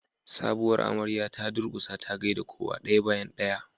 sabuwar amarya ta durkusa ta gaida kowa daya bayan daya